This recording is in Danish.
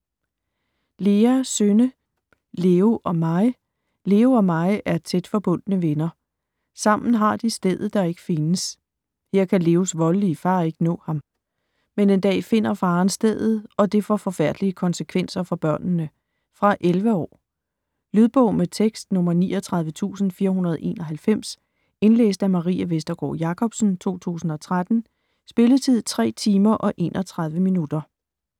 Lea, Synne: Leo og Mei Leo og Mei er tæt forbundne venner. Sammen har de stedet, der ikke findes. Her kan Leos voldelige far ikke nå ham. Men en dag finder faren stedet og det får forfærdelige konsekvenser for børnene. Fra 11 år. Lydbog med tekst 39491 Indlæst af Marie Vestergård Jacobsen, 2013. Spilletid: 3 timer, 31 minutter.